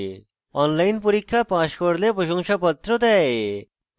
online পরীক্ষা pass করলে প্রশংসাপত্র দেয়